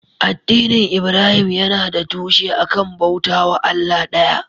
Addinin Ibrahim yana da tushe a kan bauta wa Allah ɗaya.